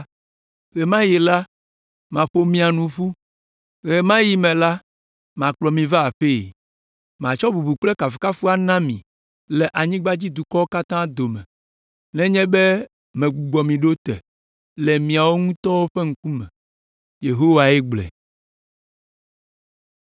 Ɣe ma yi la, maƒo mia nu ƒu; ɣe ma yi me la, makplɔ mi va aƒee. Matsɔ bubu kple kafukafu ana mi le anyigbadzidukɔwo katã dome, nenye be megbugbɔ mi ɖo te le miawo ŋutɔ ƒe ŋkuwo me.” Yehowae gblɔe.